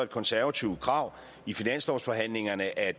konservativt krav i finanslovsforhandlingerne at